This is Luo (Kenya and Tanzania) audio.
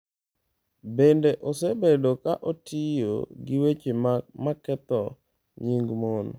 Bende, osebedo ka otiyo gi weche ma ketho nying mon.